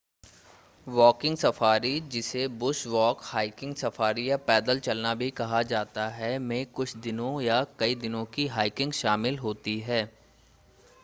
walking safari जिसे bush walk” hiking safari” या पैदल चलना” भी कहा जाता है में कुछ दिनों या कई दिनों की हाइकिंग शामिल होती है